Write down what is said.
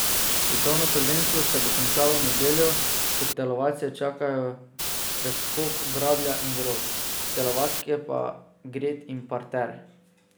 Svetovno prvenstvo se bo končalo v nedeljo, ko telovadce čakajo preskok, bradlja in drog, telovadke pa gred in parter.